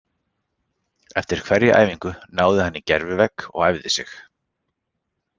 Eftir hverja æfingu náði hann í gervi-vegg og æfði sig.